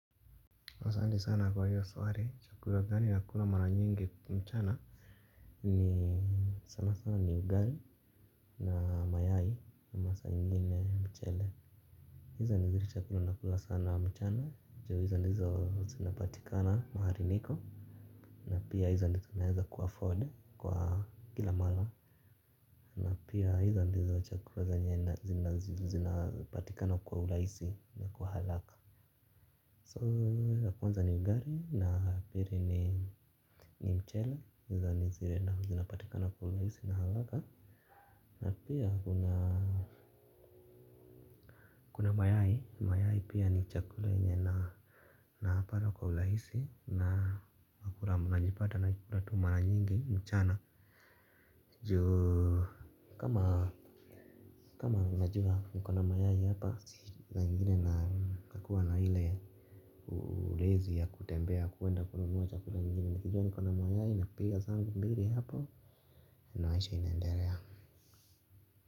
Asante sana kwa hiyo swali chakula gani nakula mara nyingi mchana ni sanasana ni ugali na mayai na masaa ingine mchele hizo ni zile chakula nakula sana mchana ju hizo ndizo zinapatikana mahali niko na pia hizo ndizo naeza ku-afford kwa kila mara na pia hizo ndizo chakula zinapatikana kwa urahisi na kwa haraka so ya kwanza ni ugali na pili ni mchele ni zile na zinapatikana kwa urahisi na haraka na pia kuna kuna mayai mayai pia ni chakula yenye na napata kwa urahisi na nakula najipata na kula tu mara nyingi mchana juu kama kama najua niko na mayai hapa saa ingine nakuwa na ile ulezi ya kutembea kuenda kunanua chakula nyingine. Nikijua niko na mayayi napiga zangu mbili hapo maisha inaendelea.